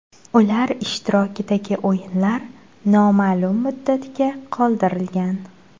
Ular ishtirokidagi o‘yinlar noma’lum muddatga qoldirilgan.